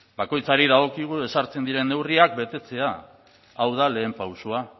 bakoitzari dagokigu ezartzen diren neurriak betetzea hau da lehen pausoa